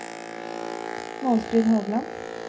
Målfrid Hovland